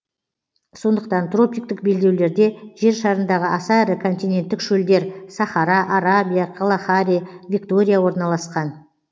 сондықтан тропиктік белдеулерде жер шарындағы аса ірі континенттік шөлдер сахара арабия калахари виктория орналасқан